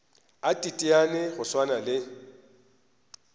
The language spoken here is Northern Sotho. a teteane go swana le